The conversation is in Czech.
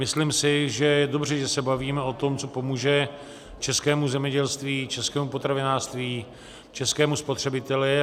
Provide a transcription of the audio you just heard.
Myslím si, že je dobře, že se bavíme o tom, co pomůže českému zemědělství, českému potravinářství, českému spotřebiteli.